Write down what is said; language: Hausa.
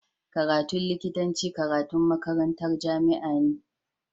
Karatun likitanci karatun makarantar jamia ne